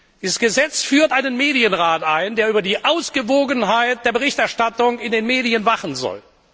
Dieses Gesetz führt einen Medienrat ein, der über die Ausgewogenheit der Berichterstattung in den Medien wachen soll.